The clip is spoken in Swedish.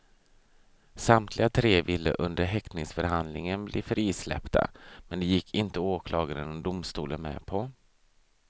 Samtliga tre ville under häktningsförhandlingen bli frisläppta men det gick inte åklagaren och domstolen med på.